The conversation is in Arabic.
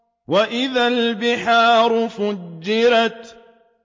وَإِذَا الْبِحَارُ فُجِّرَتْ